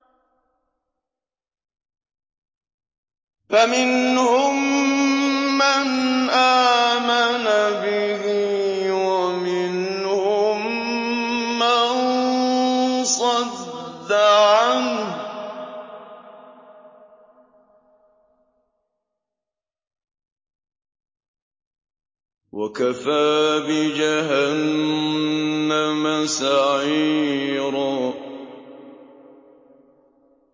فَمِنْهُم مَّنْ آمَنَ بِهِ وَمِنْهُم مَّن صَدَّ عَنْهُ ۚ وَكَفَىٰ بِجَهَنَّمَ سَعِيرًا